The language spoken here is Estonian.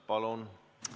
Palun!